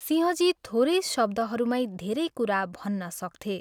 सिंहजी थोरै शब्दहरूमै धेरै कुरा भन्न सक्थे।